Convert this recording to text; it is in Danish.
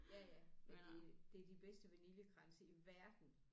Ja ja men det det er de bedste vaniljekranse i verden